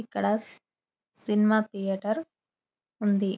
ఇక్కడ cinema theatre ఉంది.